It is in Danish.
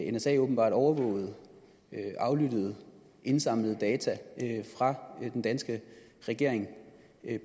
at nsa åbenbart overvågede aflyttede indsamlede data fra den danske regering